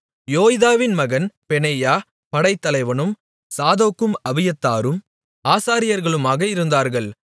யோய்தாவின் மகன் பெனாயா படைத்தலைவனும் சாதோக்கும் அபியத்தாரும் ஆசாரியர்களுமாக இருந்தார்கள்